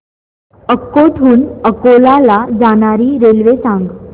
अकोट हून अकोला ला जाणारी रेल्वे सांग